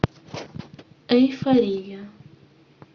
эйфория